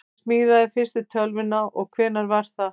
hver smíðaði fyrstu tölvuna og hvenær var það